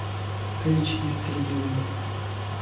page history link